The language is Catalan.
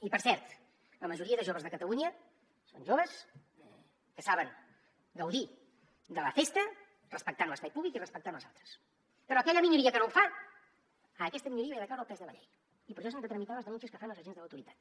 i per cert la majoria de joves de catalunya són joves que saben gaudir de la festa respectant l’espai públic i respectant els altres però aquella minoria que no ho fa a aquesta minoria li ha de caure el pes de la llei i per això s’han de tramitar les denúncies que fan els agents de l’autoritat